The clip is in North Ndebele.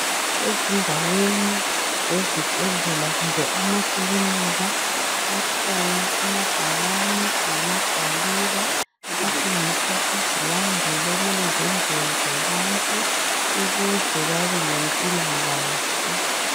Ezindaweni zezibhedlela kumbe akhona amakilinika akhona amabhakane amagwaliba atshengisa izilandelo okumele zenziwe zabantu ukuze babelempikahle